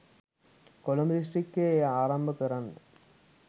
කොළඹ දිස්ත්‍රික්කයේ එය ආරම්භ කරන්න